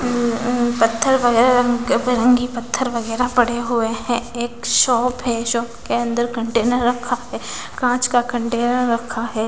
अं पत्थर वो है रंग बिरंगी पत्थर वगैरा पड़े हुए हैं एक शॉप है शॉप के अंदर कंटेनर रखा है कांच का कंटेनर रखा है।